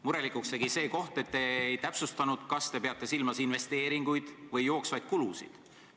Murelikuks tegi see koht, et te ei täpsustanud, kas te peate silmas investeeringuid või jooksvaid kulusid.